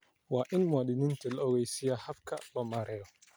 Waa in muwaadiniinta la ogeysiiyaa habka loo marayo.